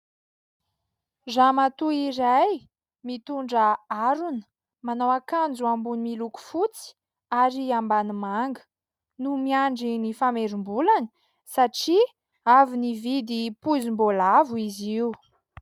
Ramatoa iray mitondra harona, manao akanjo ambony miloko fotsy ary ambany manga no miandry ny famerim-bolany satria avy nividy poizim-boalavo izy io.